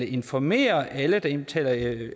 informere alle der indbetaler